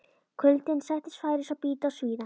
Kuldinn sætti færis að bíta og svíða.